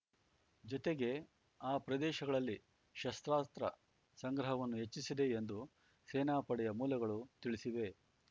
ಜೊತೆಗೆ ಆ ಪ್ರದೇಶಗಳಲ್ಲಿ ಶಸ್ತ್ರಾಸ್ತ್ರ ಸಂಗ್ರಹವನ್ನು ಹೆಚ್ಚಿಸಿದೆ ಎಂದು ಸೇನಾ ಪಡೆಯ ಮೂಲಗಳು ತಿಳಿಸಿವೆ